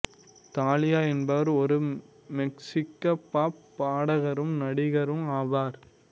Thalia என்பவர் ஒரு மெக்சிக்க பாப் பாடகரும் நடிகரும் ஆவார்